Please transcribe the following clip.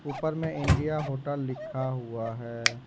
ऊपर में India hotel लिखा हुआ है।